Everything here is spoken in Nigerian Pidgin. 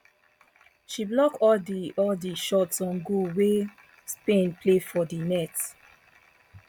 she block all di all di shots on goal wey spain play for di net